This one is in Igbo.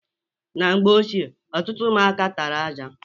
Na mgbe ochie, ọtụtụ ụmụaka tara aja.